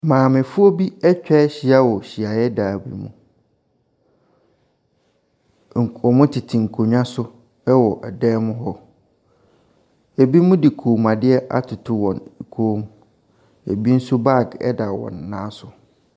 Maamefoɔ bi atwa ahyia wɔ hyiadan ne mu. Nko wɔtete nkonnwa so wɔ dan mu hɔ. Binom de kɔnmuadeɛ atoto wɔn kɔn mu, bi nso baage da wɔn nan so.